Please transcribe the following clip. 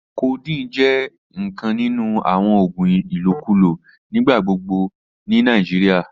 Codeine jẹ nkan ninu awon oògùn ilokulo nigbagbogbo ni Nigeria.